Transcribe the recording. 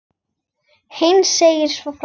Heinz segir svo frá: